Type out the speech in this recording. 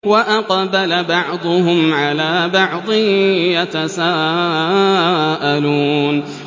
وَأَقْبَلَ بَعْضُهُمْ عَلَىٰ بَعْضٍ يَتَسَاءَلُونَ